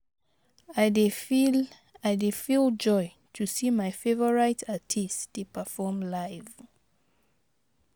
I dey feel I dey feel joy to see my favorite artist dey perform live.